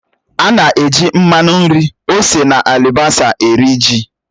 Ana-eji mmanụ nri, ose na alibasá eri ji